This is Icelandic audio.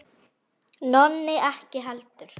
Nonni ekki heldur.